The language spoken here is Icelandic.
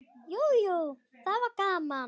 Jú, jú, það var gaman.